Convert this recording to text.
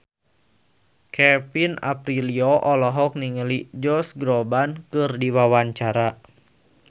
Kevin Aprilio olohok ningali Josh Groban keur diwawancara